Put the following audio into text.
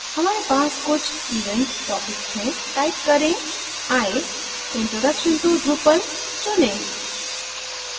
हमारे पास कुछ event topics हैं type करें i and select introduction to drupal